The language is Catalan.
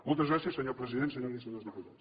moltes gràcies senyor president senyores i senyors diputats